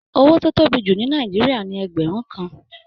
Owó tó tóbi jù ní Nàìjíríà ní ẹgbẹrun kàn.